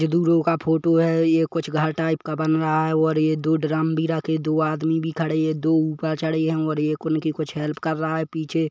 ये दु रो का फोटो है ये कुछ घर टाइप का बन रहा है और ये दो ड्रम भी रखे दो आदमी भी खड़े है दो ऊपर चढ़े है और एक उनकी कुछ हेल्प कर रहा है पीछे --